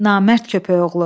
Namərd köpəyoğlu!